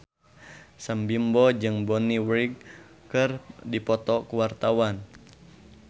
Sam Bimbo jeung Bonnie Wright keur dipoto ku wartawan